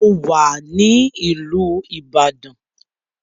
Mo wà ní ìlú ìbàdàn.